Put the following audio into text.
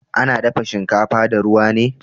Ana dafa shinkafa da ruwa ne